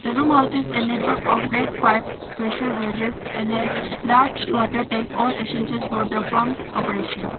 The room house is and a network of red pipes pressure gaugesand a large water tank all essential for the pump's operation.